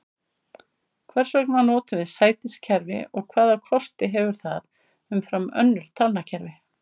Hvers vegna notum við sætiskerfi og hvaða kosti hefur það umfram önnur talnakerfi?